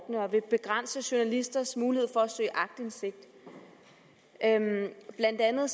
vil begrænse journalisters mulighed for at søge aktindsigt blandt andet